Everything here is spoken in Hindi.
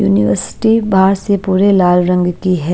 यूनिवर्सिटी बाहर से पूरे लाल रंग की है।